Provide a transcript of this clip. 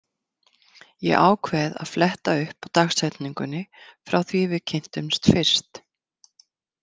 Ég ákveð að fletta upp á dagsetningunni frá því við kynntumst fyrst.